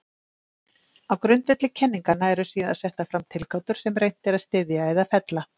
Á grundvelli kenninganna eru síðan settar fram tilgátur sem reynt er að styðja eða fella.